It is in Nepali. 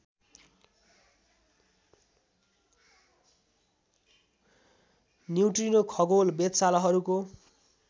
न्युट्रिनो खगोल वेधशालाहरूको